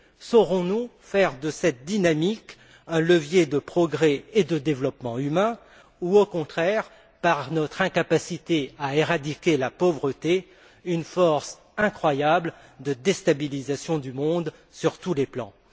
Saurons nous faire de cette dynamique un levier de progrès et de développement humain ou, au contraire, par notre incapacité à éradiquer la pauvreté, deviendra t elle une force incroyable de déstabilisation du monde sur tous les plans?